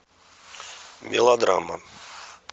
мелодрама